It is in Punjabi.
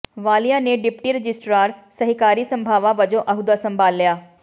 ਵਾਲੀਆ ਨੇ ਡਿਪਟੀ ਰਜਿਸਟਰਾਰ ਸਹਿਕਾਰੀ ਸਭਾਵਾਂ ਵਜੋਂ ਅਹੁਦਾ ਸੰਭਾਲਿਆ